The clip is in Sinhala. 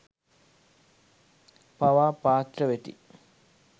පවා පාත්‍ර වෙති.